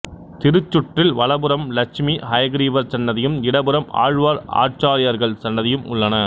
திருச்சுற்றில் வலப்புறம் லட்சுமி ஹயக்ரீவர் சன்னதியும் இடப்புறம் ஆழ்வார் ஆச்சார்யார்கள் சன்னதியும் உள்ளன